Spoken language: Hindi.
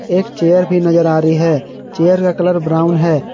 एक चेयर भी नजर आ रही है चेयर का कलर ब्राउन है।